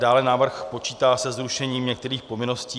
Dále návrh počítá se zrušením některých povinností.